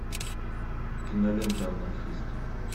кинолента анархисты